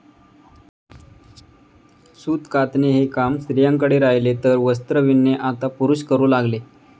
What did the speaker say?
सूत कातणे हे काम स्त्रियांकडे राहिले तर वस्त्र विणणे आता पुरुष करू लागले.